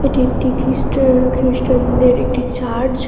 এটি একটি খ্রিস্টএর খ্রিস্টানদের একটি চার্জ ।